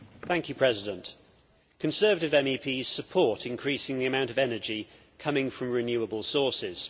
Mr President, Conservative MEPs support increasing the amount of energy coming from renewable sources.